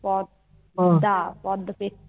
পদ্দা পদ্দা